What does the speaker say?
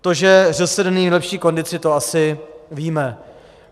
To, že ŘSD není v nejlepší kondici, to asi víme.